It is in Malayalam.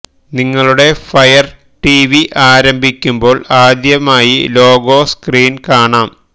നിങ്ങളുടെ ഫയർ ടിവി ആരംഭിക്കുമ്പോൾ ആദ്യമായി ലോഗോ സ്ക്രീൻ കാണാം